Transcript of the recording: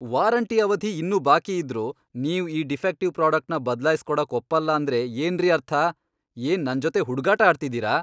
Warranty ಅವಧಿ ಇನ್ನೂ ಬಾಕಿಯಿದ್ರೂ ನೀವ್ ಈ ಡಿಫೆಕ್ಟಿವ್ ಪ್ರಾಡಕ್ಟ್ನ ಬದ್ಲಾಯ್ಸ್ ಕೊಡಕ್ ಒಪ್ಪಲ್ಲ ಅಂದ್ರೆ ಏನ್ರೀ ಅರ್ಥ?! ಏನ್ ನನ್ಜೊತೆ ಹುಡ್ಗಾಟ ಆಡ್ತಿದೀರ?!